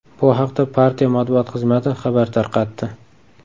Bu haqda partiya matbuot xizmati xabar tarqatdi .